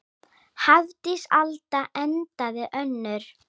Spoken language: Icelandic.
Hafdís Alda endaði önnur.